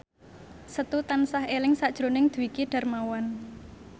Setu tansah eling sakjroning Dwiki Darmawan